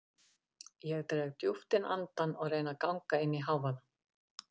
Ég dreg djúpt inn andann og reyni að ganga inn í hávaða